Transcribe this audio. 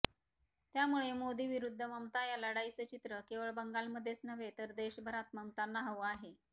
त्यामुळे मोदी विरुद्ध ममता या लढाईचं चित्रं केवळ बंगालमध्येच नव्हे तर देशभरात ममतांना हवं आहे